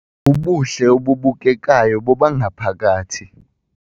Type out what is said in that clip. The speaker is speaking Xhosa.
Ubuhle obubukekayo bobangaphakathi